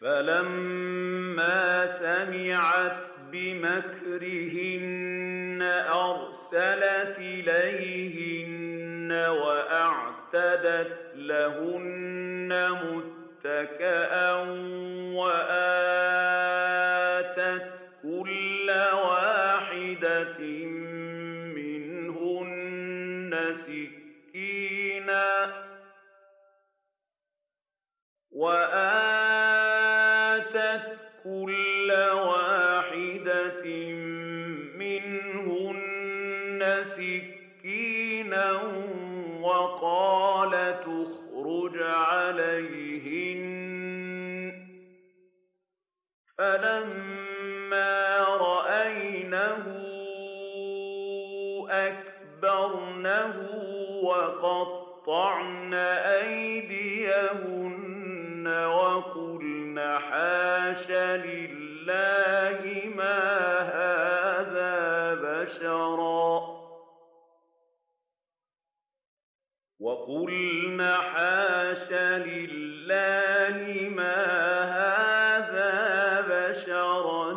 فَلَمَّا سَمِعَتْ بِمَكْرِهِنَّ أَرْسَلَتْ إِلَيْهِنَّ وَأَعْتَدَتْ لَهُنَّ مُتَّكَأً وَآتَتْ كُلَّ وَاحِدَةٍ مِّنْهُنَّ سِكِّينًا وَقَالَتِ اخْرُجْ عَلَيْهِنَّ ۖ فَلَمَّا رَأَيْنَهُ أَكْبَرْنَهُ وَقَطَّعْنَ أَيْدِيَهُنَّ وَقُلْنَ حَاشَ لِلَّهِ مَا هَٰذَا بَشَرًا